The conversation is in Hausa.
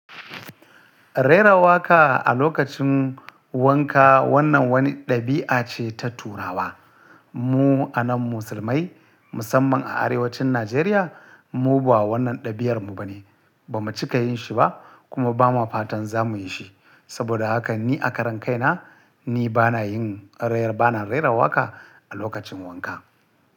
Rera waƙa a lokacin wanka wannan wani ɗabi'a ce ta turawa. Mu anan musulmai musamman a arewacin Najeriya, mu ba wannan ɗabi'armu ba ne. Ba mu cika yin shi ba kuma ba ma fatan za mu yi shi. Saboda haka ni a karan kaina, ni ba na yin rer- ba na rera waƙa a lokacin wanka.